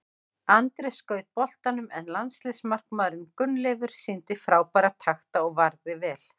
Andri skaut boltanum en landsliðsmarkmaðurinn Gunnleifur sýndi frábæra takta og varði vel.